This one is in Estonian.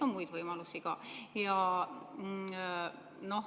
Muid võimalusi on ka.